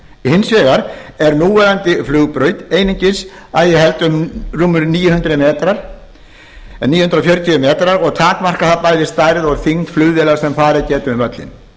hins vegar er núverandi flugbraut einungis að ég held um rúmir níu hundruð metrar eða níu hundruð fjörutíu metrar og takmarkar það bæði stærð og þyngd flugvéla sem farið geta um völlinn